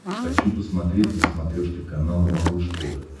хочу посмотреть на смотрешке канал малыш тв